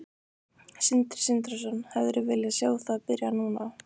Sindri Sindrason: Hefðirðu viljað sjá það byrja núna?